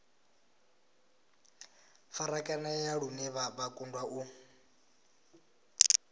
farakanea lune vha kundwa u